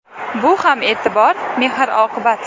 Bu ham e’tibor, mehr-oqibat.